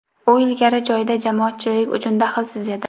U ilgari joyida jamoatchilik uchun daxlsiz edi.